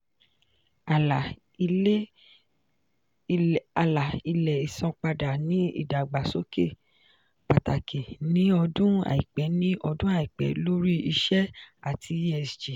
àlà-ilẹ̀ ìsanpadà ní ìdàgbàsókè pàtàkì ní ọdún aipẹ ní ọdún aipẹ lórí iṣẹ́ ati esg.